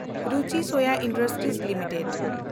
Ruchi Soya industries limited